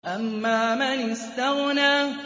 أَمَّا مَنِ اسْتَغْنَىٰ